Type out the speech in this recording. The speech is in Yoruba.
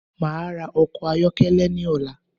Máa ra ọkọ̀ ayọ́kẹ́lẹ́ ní ọ̀la